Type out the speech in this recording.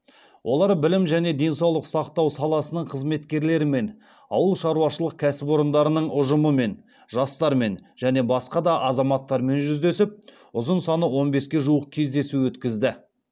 олар білім және денсаулық сақтау саласының қызметкерлерімен ауыл шаруашылық кәсіпорындарының ұжымымен жастармен және басқа да азаматтармен жүздесіп ұзын саны он беске жуық кездесу өткізді